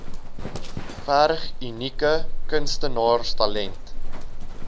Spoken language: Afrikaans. verg unieke kunstenaarstalent